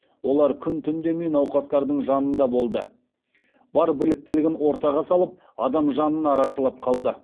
олар күн түн демей науқастардың жанында болды бар біліктілігін ортаға салып адам жанын арашалап қалды